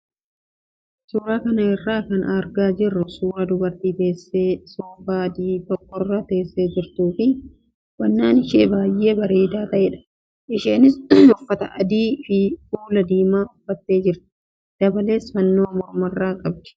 Suuraa kana irraa kan argaa jirru suuraa dubartii teessoo soofaa adii tokkorra teessee jirtuu fi uffannaan ishee baay'ee bareedaa ta'edha. Isheenis uffata adii fi kuula diimaa uffattee jirti dabalees, fannoo mormarraa qabdi.